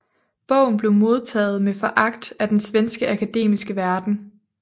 Bogen blev modtaget med foragt af den svenske akademiske verden